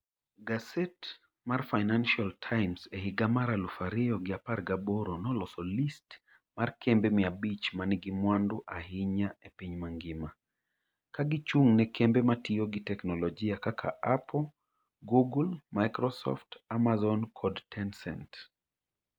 Gaset mar Financial Times e higa mar aluf ariyo gi apar gaboro noloso list mar kembe mia abich ma nigi mwandu ahinya e piny mangima, ka gichung' ne kembe ma tiyo gi teknoloji kaka Apple, Google, Microsoft, Amazon, kod Tencent.